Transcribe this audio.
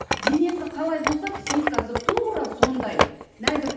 денесі қалай болса психикасы тура сондай нәзік